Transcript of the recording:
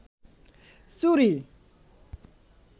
চুরি